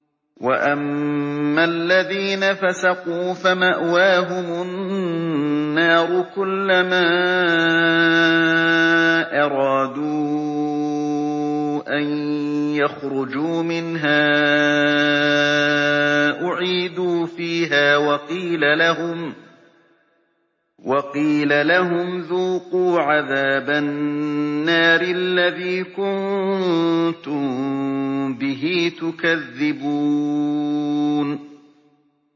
وَأَمَّا الَّذِينَ فَسَقُوا فَمَأْوَاهُمُ النَّارُ ۖ كُلَّمَا أَرَادُوا أَن يَخْرُجُوا مِنْهَا أُعِيدُوا فِيهَا وَقِيلَ لَهُمْ ذُوقُوا عَذَابَ النَّارِ الَّذِي كُنتُم بِهِ تُكَذِّبُونَ